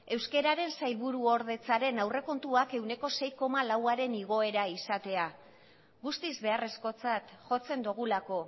euskeraren sailbuordetzaren aurrekontuak ehuneko sei koma lauaren igoera izatea guztiz beharrezkotzak jotzen dugulako